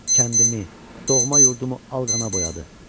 Kəndimi, doğma yurdumu al qana boyadı.